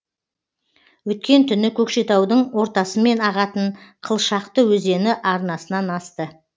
өткен түні көкшетаудың ортасымен ағатын қылшақты өзені арнасынан асты